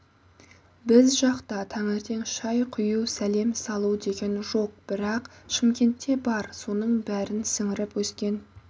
біз жақта таңертең шай құю сәлем салу деген жоқ бірақ шымкентте бар соның бәрін сіңіріп өскен